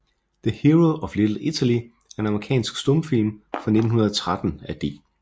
The Hero of Little Italy er en amerikansk stumfilm fra 1913 af D